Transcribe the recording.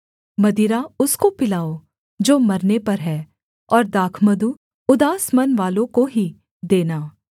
मदिरा उसको पिलाओ जो मरने पर है और दाखमधु उदास मनवालों को ही देना